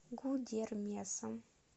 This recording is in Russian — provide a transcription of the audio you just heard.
гудермесом